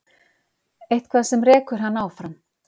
Eitthvað sem rekur hann áfram.